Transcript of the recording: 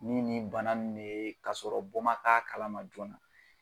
Ni nin bana ninnu de ye k'a sɔrɔ bɔ ma k'a kalama joona.